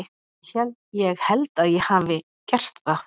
Ég held að ég hafi gert það.